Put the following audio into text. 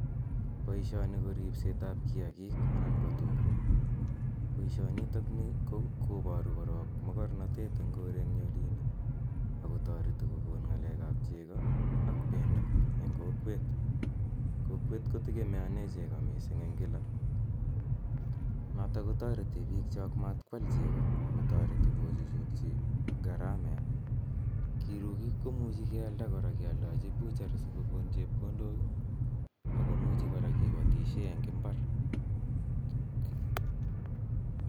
Boisioni ko ripsetab kiagik anan ko tuga. Boisionitok ni koparu korok mogornatet eng korenyun olin ak kotoreti kogon ngalekab chego ak bendo eng kokwet. Kokwet ko tegemeane chego mising eng kila. Notok kotoreti biikchok matkwal chego agotoreti kochuchukchi garamet. Kirugik kimuchi kealda kora kealdechi butchery sigogon chepkondok ii ak komuchi kora kipatisien en imbar.